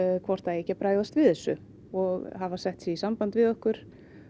hvort það eigi ekki að bregðast við þessu og hafa sett sig í samband við okkur